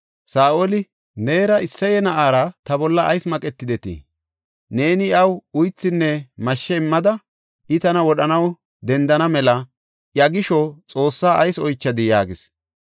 Saa7oli, “Neera Isseye na7aara ta bolla ayis maqetidetii? Neeni iyaw uythinne mashshe immada, I tana wodhanaw dendana mela iya gisho Xoossaa ayis oychadii?” yaagis.